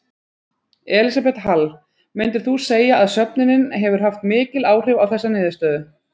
Elísabet Hall: Myndir þú segja að söfnunin hefur haft mikil áhrif á þessa niðurstöðu?